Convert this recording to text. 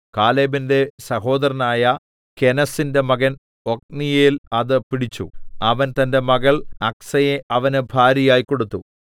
കാലേബിന്റെ സഹോദരനായ കെനസിന്റെ മകൻ ഒത്നീയേൽ അത് പിടിച്ചു അവൻ തന്റെ മകൾ അക്സയെ അവന് ഭാര്യയായി കൊടുത്തു